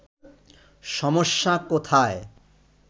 সমস্যা কোথায়”